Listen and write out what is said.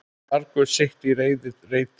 Margur sitt í reiði reytir.